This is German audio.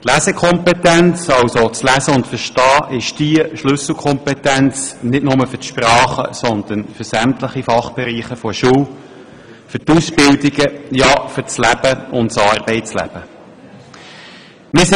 Die Lesekompetenz – also das Lesen und Verstehen – ist die Schlüsselkompetenz, nicht nur für die Sprachen, sondern für sämtliche Fachbereiche der Schule, für Ausbildungen, ja, für das Leben und das Arbeitsleben allgemein.